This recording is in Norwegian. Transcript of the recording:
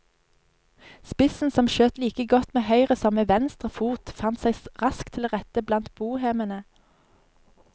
Spissen, som skjøt like godt med høyre som med venstre fot, fant seg raskt til rette blant bohemene.